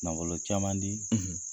Nafolo caman di,